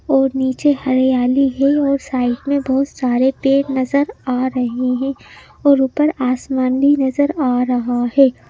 और नीचे हरियाली है और साइड में बहोत सारे पेड़ नजर आ रहे हैं और ऊपर आसमानी नजर आ रहा है।